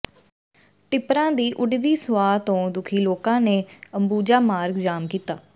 ਟਿੱਪਰਾਂ ਦੀ ਉੱਡਦੀ ਸੁਆਹ ਤੋਂ ਦੁਖੀ ਲੋਕਾਂ ਨੇ ਅੰਬੂਜਾ ਮਾਰਗ ਜਾਮ ਕੀਤਾ